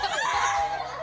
já